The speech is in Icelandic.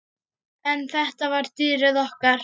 En þetta var dýrið okkar.